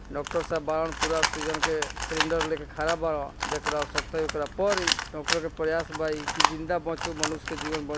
doctor सहाब बावन पूरा आक्सिजन के सिलिन्डर ले के खड़ा बा देख रहा सके देख रहा पोरी डॉक्टर के प्रयास बा ई के जिंदा बचसे तो मनुष्य का जीवन--